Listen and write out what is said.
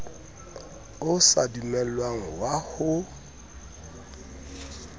o sa dumellwang wa ho